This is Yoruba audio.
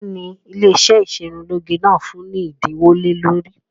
Kín ni ilé ìṣerunlóge náà ń fún ni ẹ̀dínwó lé lórí?